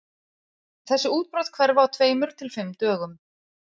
Þessi útbrot hverfa á tveimur til fimm dögum.